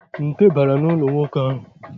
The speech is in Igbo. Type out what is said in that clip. Nte bara n'ụlọ nwaanyị ahụ.